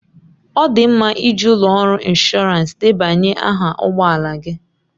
Ọ dị mma iji ụlọ ọrụ inshọransị debanye aha ụgbọ ala gị.